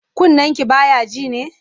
Kunnenki ba ya ji ne?